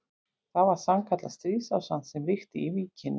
Það var sannkallað stríðsástand sem ríkti í Víkinni.